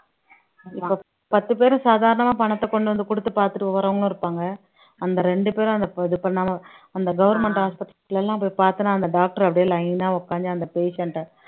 இப்ப பத்து பேரும் சாதாரணமா பணத்தை கொண்டு வந்து குடுத்து பாத்துட்டு போறவங்களும் இருப்பாங்க அந்த ரெண்டு பேரும் அந்த இது பண்ணாம அந்த government hospital ல எல்லாம் போய் பார்த்தேன்னா அந்த doctor அப்படியே line ஆ உட்கார்ந்து அந்த patient அ